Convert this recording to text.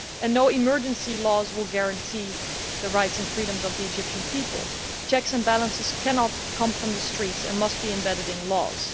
No emergency laws will guarantee the rights and freedoms of the Egyptian people. Checks and balances cannot come from the streets but must be embedded in laws.